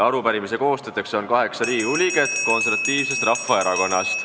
Arupärimise on koostanud kaheksa Riigikogu liiget Eesti Konservatiivsest Rahvaerakonnast.